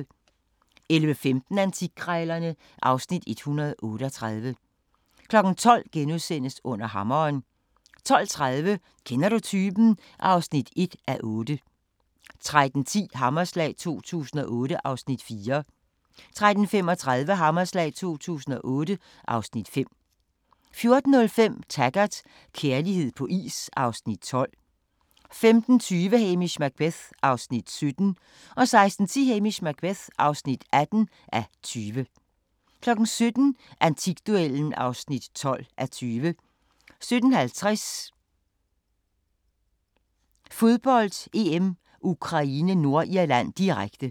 11:15: Antikkrejlerne (Afs. 138) 12:00: Under Hammeren * 12:30: Kender du typen? (1:8) 13:10: Hammerslag 2008 (Afs. 4) 13:35: Hammerslag 2008 (Afs. 5) 14:05: Taggart: Kærlighed på is (Afs. 12) 15:20: Hamish Macbeth (17:20) 16:10: Hamish Macbeth (18:20) 17:00: Antikduellen (12:20) 17:50: Fodbold: EM - Ukraine-Nordirland, direkte